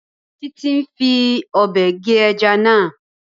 Títí ń fi Ọ̀bẹ gé ẹja náà